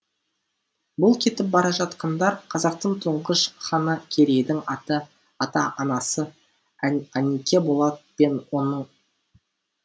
бұл кетіп бара жатқандар қазақтың тұңғыш ханы керейдің ата ата анасы анике болат пен оның